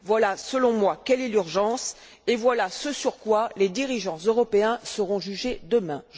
Voilà, selon moi, quelle est l'urgence et voilà ce sur quoi les dirigeants européens seront jugés demain.